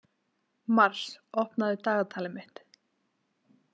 Mars, opnaðu dagatalið mitt.